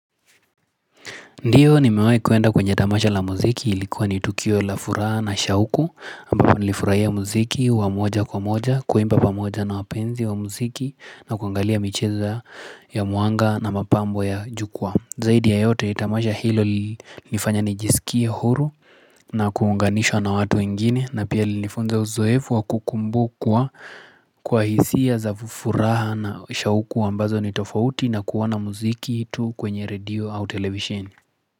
Ndiyo nimewai kuenda kwenye tamasha la muziki ilikuwa ni tukio la furaha na shauku ambapo nilifurahia muziki wa moja kwa moja kuimba pamoja na wapenzi wa muziki na kuangalia micheza ya mwanga na mapambo ya jukwaa zaidi ya yote tamasha hilo nifanya nijisikie huru na kuunganishwa na watu wengine na pia lilinifunza uzoefu wa kukumbukwa kwa hisia za furaha na shauku ambazo ni tofauti na kuona muziki tu kwenye radio au television.